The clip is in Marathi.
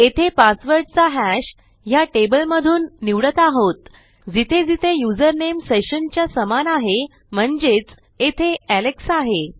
येथे पासवर्डचा हॅश ह्या टेबलमधून निवडत आहोत जिथे जेथे यूज़रनेम सेशन च्या समान आहे म्हणजेच येथे एलेक्स आहे